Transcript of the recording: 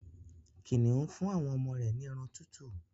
Kìnìún fún àwọn ọmọ rẹ̀ ní ẹran tútù